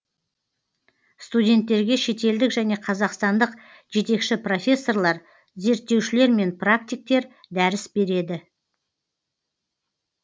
студенттерге шетелдік және қазақстандық жетекші профессорлар зерттеушілер мен практиктер дәріс береді